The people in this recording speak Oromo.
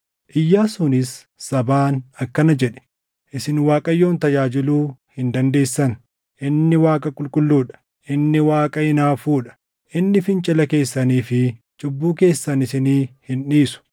Iyyaasuunis sabaan akkana jedhe; “Isin Waaqayyoon tajaajiluu hin dandeessan. Inni Waaqa qulqulluu dha. Inni Waaqa hinaafuu dha. Inni fincila keessanii fi cubbuu keessan isinii hin dhiisu.